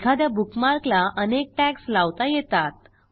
एखाद्या बुकमार्कला अनेक टॅग्ज लावता येतात